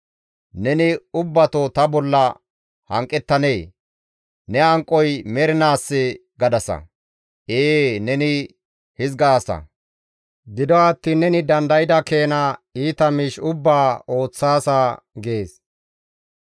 Neni ubbato ta bolla hanqettanee? Ne hanqoy mernaassee?› gadasa. Ee neni hizgaasa; gido attiin neni dandayda keena iita miish ubbaa ooththaasa» gees.